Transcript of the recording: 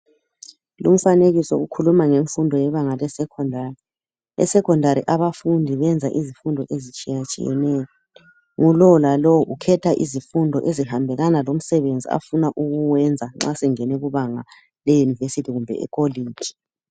lu mfanekiso ukhuluma ngemfundo yebanga le Secondary e secondary abafundi benza izifundo ezitshiyatshiyeneyo lowo lalowo ukhetha izifundo ezihambelana lomsebenzi afuna ukuwenza nxa sengene kubanga le university kumbe e colloge